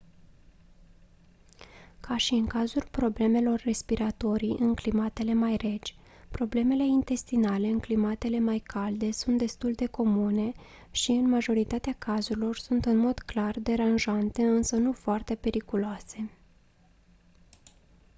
ca și în cazul problemelor respiratorii în climatele mai reci problemele intestinale în climatele mai calde sunt destul de comune și în majoritatea cazurilor sunt în mod clar deranjante însă nu foarte periculoase